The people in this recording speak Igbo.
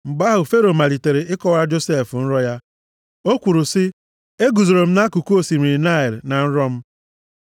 Mgbe ahụ, Fero malitere ịkọwara Josef nrọ ya. O kwuru sị, “Eguzoro m nʼakụkụ osimiri Naịl na nrọ m.